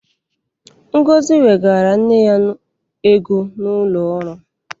Ngozi wegara nne ya ego n'ụlọ ọrụ.